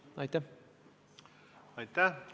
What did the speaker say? Aitäh!